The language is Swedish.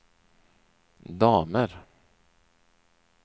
damer